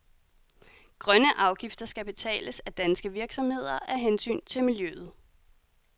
Grønne afgifter skal betales af danske virksomheder af hensyn til miljøet.